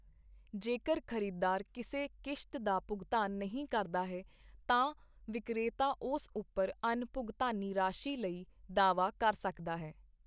ਜੇਕਰ ਖਰੀਦਦਾਰ ਕਿਸੇ ਕਿਸ਼ਤ ਦਾ ਭੁਗਤਾਨ ਨਹੀਂ ਕਰਦਾ ਹੈ ਤਾਂ ਵਿਕਰੇਤਾ ਉਸ ਉੱਪਰ ਅਣਭੁਗਤਾਨੀ ਰਾਸ਼ੀ ਲਈ ਦਾਅਵਾ ਕਰ ਸਕਦਾ ਹੈ।